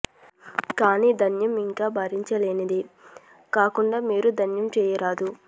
కానీ ధ్యానం ఇంకా భరించలేనిది కాకుంటే మీరు ధ్యానం చేయరాదు